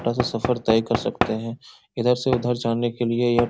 छोटा सा सफ़र तय कर सकते हैं। इधर से उधर जाने के लिए यह --